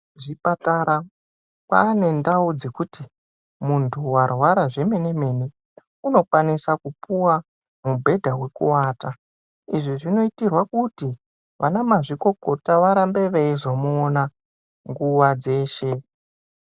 Kuzvipatara, kwaane ndau dzekuti, muntu warwara zvemene-mene, unokwanisa kupuwa mibhedha wekuwata. Izvi zvinoitirwa kuti vanamazvikokota varambe veizomuona ,nguva dzeshe.